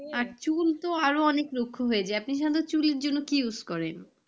আর চুল তো আরো অনেক রুক্ষ হয়ে যায় আপনি সাধারণত চুলের জন্য কি use করেন?